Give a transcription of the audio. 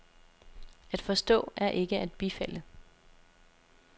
At forstå er ikke at bifalde.